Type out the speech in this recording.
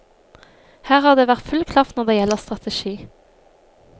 Her har det vært full klaff når det gjelder strategi.